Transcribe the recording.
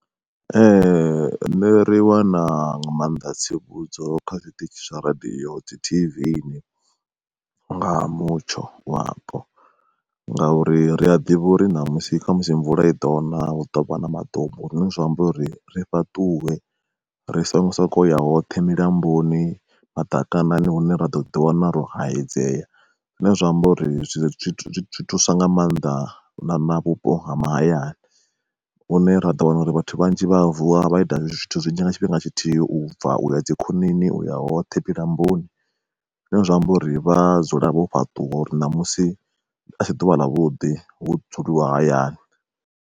Ee ṋne ri wana nga mannḓa tsivhudzo kha zwi tshiṱitshi zwa radiyo, dzi T_V ni nga ha mutsho wapo, ngauri ri a ḓivha uri ṋamusi khamusi mvula i ḓo na hu ḓovha na maḓumbu zwine zwa amba uri ri fhaṱuwe ri songo soko ya hoṱhe milamboni, madakanani hune ra ḓo ḓi wana ro hayedzea zwine zwa amba uri zwi thusa nga maanḓa na na vhupo ha mahayani. Hune ra ḓo wana uri vhathu vhanzhi vha vuwa vha ita zwithu zwinzhi nga tshifhinga tshithihi ubva uya dzi khonani uya hoṱhe milamboni, zwine zwa amba uri vha a dzula vho fhaṱuwa uri ṋamusi asi ḓuvha ḽa vhuḓi hu dzuliwa hayani.